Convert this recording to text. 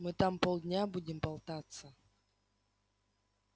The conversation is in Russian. мы там полдня будем болтаться